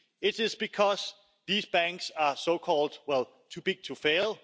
It is because these banks are so called too big to fail'.